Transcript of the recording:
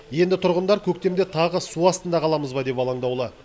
енді тұрғындар көктемде тағы су астында қаламыз ба деп алаңдаулы